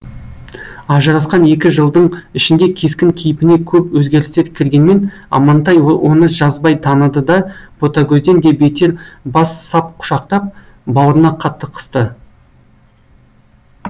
ажырасқан екі жылдың ішінде кескін кейпіне көп өзгерістер кіргенмен амантай оны жазбай таныды да ботагөзден де бетер бас сап құшақтап бауырына қатты қысты